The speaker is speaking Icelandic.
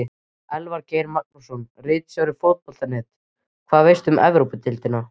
Elvar Geir Magnússon, ritstjóri Fótbolta.net: Hvað veistu um Evrópudeildina?